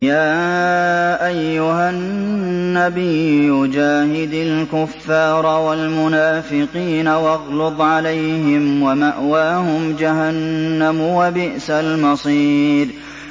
يَا أَيُّهَا النَّبِيُّ جَاهِدِ الْكُفَّارَ وَالْمُنَافِقِينَ وَاغْلُظْ عَلَيْهِمْ ۚ وَمَأْوَاهُمْ جَهَنَّمُ ۖ وَبِئْسَ الْمَصِيرُ